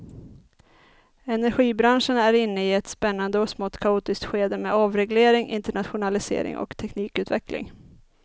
Energibranschen är inne i ett spännande och smått kaotiskt skede med avreglering, internationalisering och teknikutveckling.